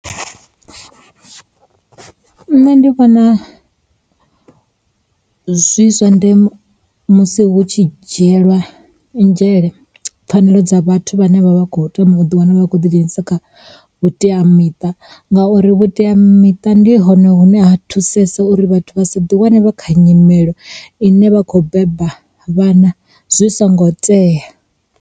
Nṋe ndi vhona zwi zwa ndeme musi hu tshi dzhielwa nzhele pfhanelo dza vhathu vhane vha vha vha kho thoma uḓi wana vha tshi khou ḓi dzhenisa kha vhuteamiṱa ngauri vhuteamiṱa ndi hone hune ha thusesa uri vhathu vha sa ḓi wane vha kha nyimele ine vha khou beba vhana zwi songo teya.